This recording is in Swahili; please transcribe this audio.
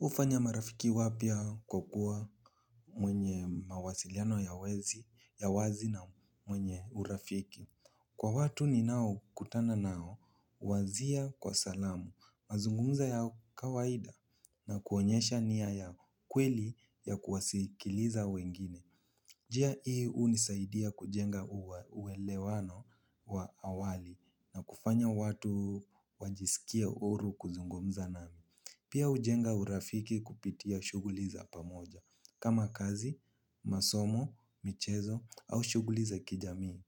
Ufanya marafiki wapia kwa kuwa mwenye mawasiliano ya wezi, ya wazi na mwenye urafiki. Kwa watu ni nao kutana nao, wazia kwa salamu, mazungumza ya kawaida na kuonyesha niya ya kweli ya kuwasikiliza wengine. Jia ii unisaidia kujenga uwelewano wa awali na kufanya watu wajisikie oru kuzungumza nami. Pia ujenga urafiki kupitia shuguliza pamoja, kama kazi, masomo, michezo au shuguli za kijami.